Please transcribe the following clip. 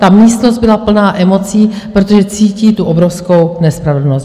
Ta místnost byla plná emocí, protože cítí tu obrovskou nespravedlnost.